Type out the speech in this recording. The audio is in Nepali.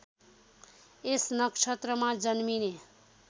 यस नक्षत्रमा जन्मिने